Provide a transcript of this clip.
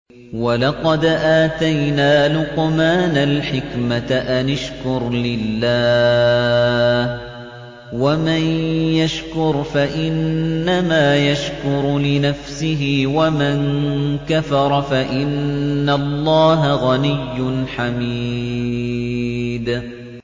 وَلَقَدْ آتَيْنَا لُقْمَانَ الْحِكْمَةَ أَنِ اشْكُرْ لِلَّهِ ۚ وَمَن يَشْكُرْ فَإِنَّمَا يَشْكُرُ لِنَفْسِهِ ۖ وَمَن كَفَرَ فَإِنَّ اللَّهَ غَنِيٌّ حَمِيدٌ